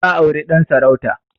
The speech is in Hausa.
Ta auri Dan sarauta.